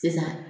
Sisan